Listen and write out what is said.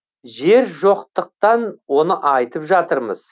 жер жоқтықтан оны айтып жатырмыз